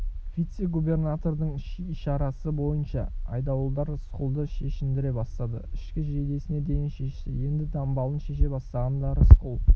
вице-губернатордың ишарасы бойынша айдауылдар рысқұлды шешіндіре бастады ішкі жейдесіне дейін шешті енді дамбалын шеше бастағанда рысқұл